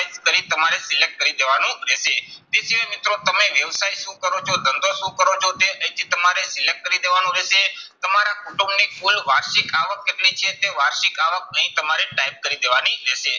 type કરી તમારે select કરી દેવાનું રહેશે. તે સિવાય મિત્રો તમે વ્યવસાય શું કરો છો, ધંધો શું કરો છો તે અહીંથી તમારે select કરી દેવાનું રહેશે. તમારા કુટુંબની કુલ વાર્ષિક અવાક કેટલી છે તે વાર્ષિક અવાક અહીં તમારે type કરી દેવાની રહેશે.